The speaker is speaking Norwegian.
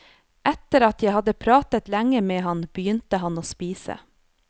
Etter at jeg hadde pratet lenge med ham begynte han å spise.